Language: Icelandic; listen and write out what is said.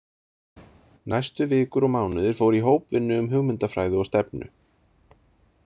Næstu vikur og mánuðir fóru í hópvinnu um hugmyndafræði og stefnu.